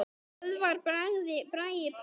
Böðvar Bragi Pálsson